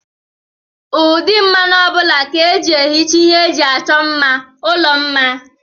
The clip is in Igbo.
Ụdị mmanụ ọbụla ka eji ehicha ihe eji achọ mma ụlọ mma.